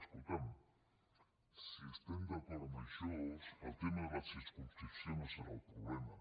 escolta’m si estem d’acord en això el tema de la circumscripció no serà el problema